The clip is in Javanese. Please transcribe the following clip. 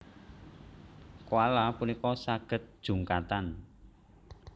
Koala punika saged jungkatan